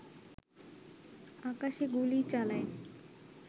আকাশে গুলি চালায়